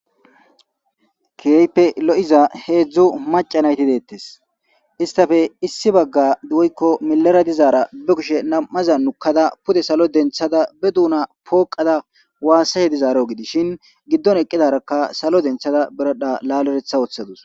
keHIpe lo'iza heedzdzu maca nayti deettes istafe issi bagga woykko milara dizaara be kushe nam'aza nukkada pude salo denthada be duuna pooqada waassahe dizaaro gidishin giddon eqqidarakka salo denthada beradha laaleretha ooththadus.